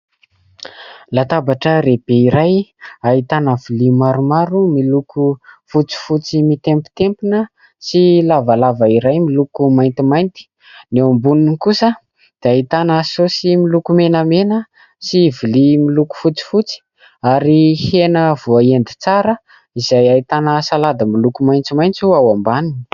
Latabatra lehibe iray ahitana lovia maromaro miloko fotsy fotsy mitempitempina sy lavalava iray miloko mainty mainty, ny eo amboniny kosa dia ahitana saosy miloko mena mena sy lovia miloko fotsy fotsy ary hena voahendy tsara izay ahitana salady miloko maitso maitso ao ambaniny.